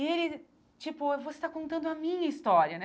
E ele, tipo, você tá contando a minha história, né?